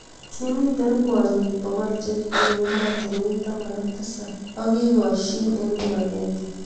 Kimitei kwonyik bokol chekibunu ematunwek taman ak tisab ak kikoshin eng kibakenge.